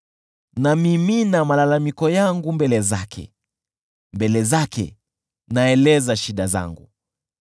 Namimina malalamiko yangu mbele zake, mbele zake naeleza shida zangu.